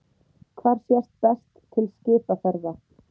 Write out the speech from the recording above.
Hvar sést best til skipaferða?